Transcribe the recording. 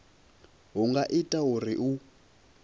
hu nga ita uri hu